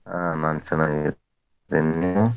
ಆ ನಾನ್ ಚನ್ನಾಗಿದೀನಿ ನೀವು?